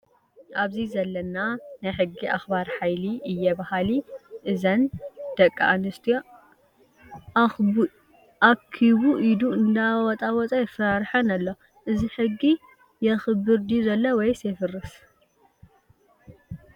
ኣብዚ ዘለና ናይ ሕጊ ኣክባሪ ሓይሊ እየ በሃሊ እዛን ደኣ ኣንስትዮ ኣክቡኢዱ እንዳዋጣወጠ የፋራረሐን ኣሎ። እዚ ሕጊ የክብር ድዮ ዘሎ ወይስ የፍርስ?